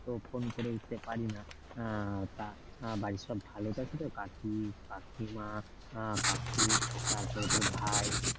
তো phone করে উঠতে পারি না, আহ তা বাড়ির সব ভালো আছে তো কাকি কাকিমা কাকু উহ তারপরে তোর ভাই